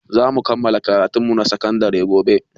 Zamu kammala karatun mu na sakan dare gobe